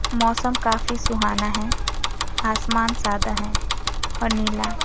मौसम काफी सुहाना है आसमान सादा है और नीला।